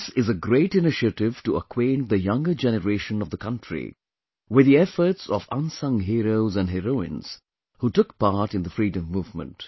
This is a great initiative to acquaint the younger generation of the country with the efforts of unsung heroes and heroines who took part in the freedom movement